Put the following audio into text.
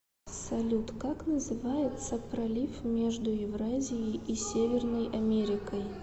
салют как называется пролив между евразией и северной америкой